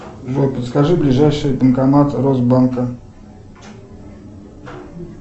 джой подскажи ближайший банкомат росбанка